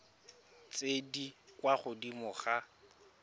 tse di kwa godimo ga